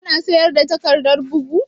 Ka na sayar da takardar bugu?